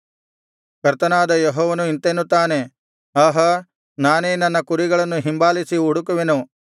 ಕರ್ತನಾದ ಯೆಹೋವನು ಇಂತೆನ್ನುತ್ತಾನೆ ಆಹಾ ನಾನೇ ನನ್ನ ಕುರಿಗಳನ್ನು ಹಿಂಬಾಲಿಸಿ ಹುಡುಕುವೆನು